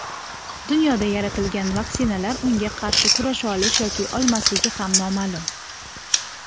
dunyoda yaratilgan vaksinalar unga qarshi kurasha olish yoki olmasligi ham noma’lum.